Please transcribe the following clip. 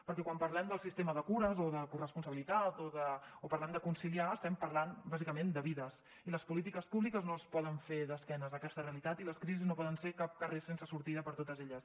perquè quan parlem del sistema de cures o de corresponsabilitat o parlem de conciliar estem parlant bàsicament de vides i les polítiques públiques no es poden fer d’esquena a aquesta realitat i les crisis no poden ser cap carrer sense sortida per a totes elles